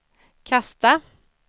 kasta